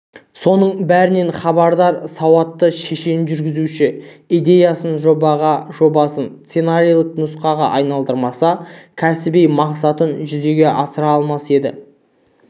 осының бәрінен хабардар сауатты шешен жүргізуші идеясын жобаға жобасын сценарийлік нұсқаға айналдырмаса кәсіби мақсатын жүзеге асыра алмас еді